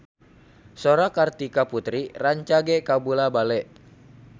Sora Kartika Putri rancage kabula-bale